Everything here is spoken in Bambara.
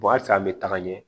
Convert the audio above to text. a san an be taga ɲɛ